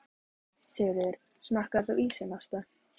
Sigríður: Smakkaðir þú ísinn, Ásta?